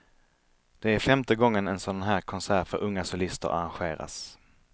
Det är femte gången en sådan här konsert för unga solister arrangeras.